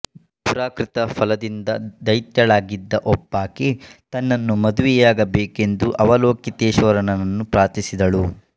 ಪುರಾಕೃತ ಫಲದಿಂದ ದೈತ್ಯಳಾಗಿದ್ದ ಒಬ್ಬಾಕೆ ತನ್ನನ್ನು ಮದುವೆಯಾಗಬೇಕೆಂದು ಅವಲೋಕಿತೇಶ್ವರನನ್ನು ಪ್ರಾರ್ಥಿಸಿದಳು